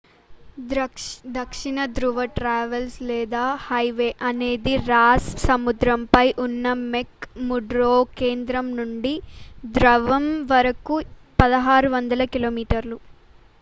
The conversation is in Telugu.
దక్షిణ ధ్రువ ట్రావర్స్ లేదా హైవే అనేది రాస్ సముద్రంపై ఉన్న మెక్ ముర్డో కేంద్రం నుండి ధృవం వరకు 1600 కి.మీ